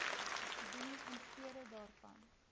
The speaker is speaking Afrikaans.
dien instede daarvan